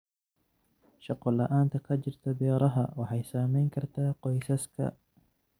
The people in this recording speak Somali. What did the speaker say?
Shaqo la'aanta ka jirta beeraha waxay saameyn kartaa qoysaska.